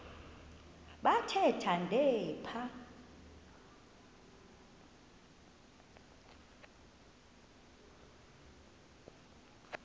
bathe thande phaya